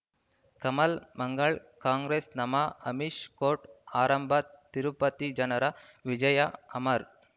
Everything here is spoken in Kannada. ಕಮಲ್ ಮಂಗಳ್ ಕಾಂಗ್ರೆಸ್ ನಮ ಅಮಿಷ್ ಕೋರ್ಟ್ ಆರಂಭ ತಿರುಪತಿ ಜನರ ವಿಜಯ ಅಮರ್